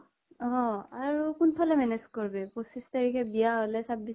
অ । আৰু কোন ফালে manage কৰিবি পঁচিছ তাৰিখে বিয়া হʼলে চাব্বিছ